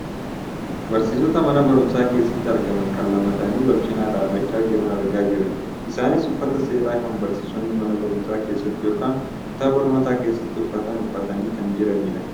Barsiisota mana barumsaa keessatti argaman kan lama ta'anii wal cinaa dhaabbachaa jiran argaa jirra . isaanis uffata seeraa kan barsiisonni mana barumsaa keessatti yookaan kutaa barnootaa keessatti uffatan uffatanii kan jiranidha.